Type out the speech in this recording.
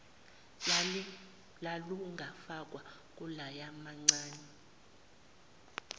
lalungafakwa kuloya mamncane